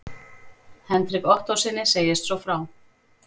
Hendrik Ottóssyni segist svo frá